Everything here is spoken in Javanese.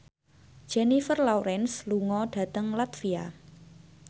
Jennifer Lawrence lunga dhateng latvia